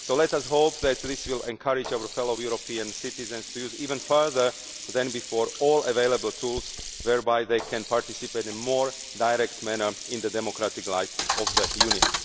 Let us hope that this will encourage our fellow European citizens to use, even more than before, all available tools whereby they can participate in a more direct manner in the democratic life of the